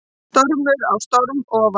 Stormur á storm ofan